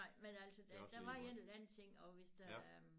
Nej men der var en eller anden ting og hvis der